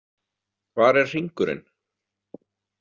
Hvar er hringurinn?